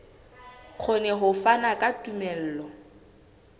kgone ho fana ka tumello